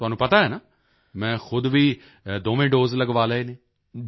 ਤੁਹਾਨੂੰ ਪਤਾ ਹੈ ਨਾ ਮੈਂ ਖੁਦ ਵੀ ਦੋਵੇਂ ਦੋਸੇ ਲਗਵਾ ਲਏ ਹਨ